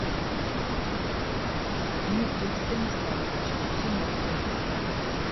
дмитрий станиславович зиновкин